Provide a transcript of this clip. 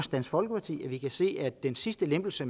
dansk folkeparti at vi kan se at den sidste lempelse